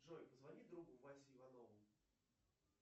джой позвони другу васе иванову